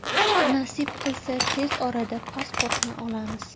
Nasib qilsa tez orada pasportni olamiz.